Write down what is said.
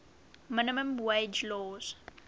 minimum wage laws